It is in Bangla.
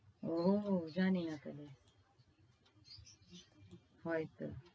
ওহ জানি না তবে। হয়তো।